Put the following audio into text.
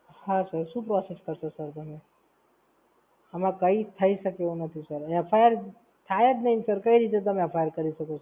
હાં Sir શું process કરશો Sir તમે? આમાં કઈ થઈ શકે એવું નથી SIr FIR થાય જ નહીં Sir. કઈ રીતે તમે FIR કરી શકો છો?